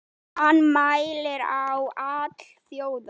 Hann mælir á alþjóða